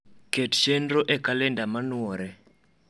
ket chenro e kalenda manuore